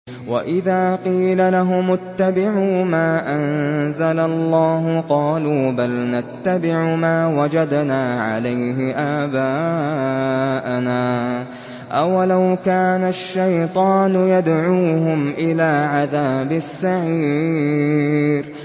وَإِذَا قِيلَ لَهُمُ اتَّبِعُوا مَا أَنزَلَ اللَّهُ قَالُوا بَلْ نَتَّبِعُ مَا وَجَدْنَا عَلَيْهِ آبَاءَنَا ۚ أَوَلَوْ كَانَ الشَّيْطَانُ يَدْعُوهُمْ إِلَىٰ عَذَابِ السَّعِيرِ